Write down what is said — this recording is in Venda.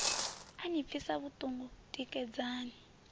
a ni pfisa vhuḓungu tikedzani